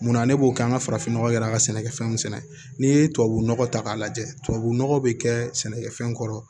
Munna ne b'o kɛ an ka farafinnɔgɔ kɛla ka sɛnɛfɛnw sɛnɛ n'i ye tubabunɔgɔ ta k'a lajɛ tubabu nɔgɔ bɛ kɛ sɛnɛkɛfɛn kɔrɔ